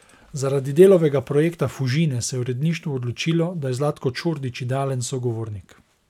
Zaradi Delovega projekta Fužine se je uredništvo odločilo, da je Zlatko Čordić idealen sogovornik.